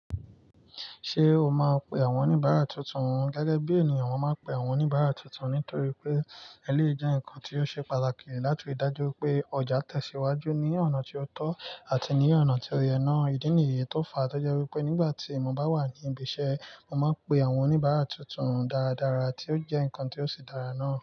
Ṣé o máa pe àwọn oníbàárà tuntun? Gẹ́gẹ́ bí èèyàn máa ń pe àwọn oníbàárà tuntun nítorí pé eléèé jẹ́ ǹkan tí ó ṣe pàtàkì láti dájú pé ọjà tẹ̀síwájú ní ọ̀nà tí ó tọ́ àti ní ọ̀nà tí ó yẹ ná. Ìdí nìyí tó fa, tó jẹ́ wípé nígbà tí mo bá wà ní ibi iṣẹ́, mo máa ń pe àwọn oníbàárà tuntun dáradára tí ó jẹ́ ǹkan tí ó ṣe dára náà.